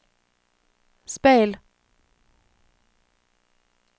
speil